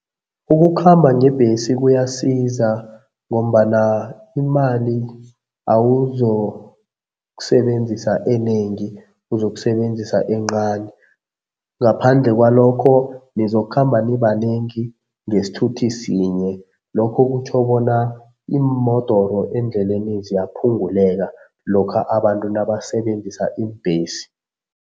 Ukukhamba ngebhesi kuyasiza ngombana imali awuzokusebenzisa enengi, uzokusebenzisa encani. Ngaphandle kwalokho nizokhamba nibanengi ngesithuthi sinye. Lokho kutjho bona iimodoro endleleni ziyaphunguleka lokha abantu nabasebenzisa iimbhesi.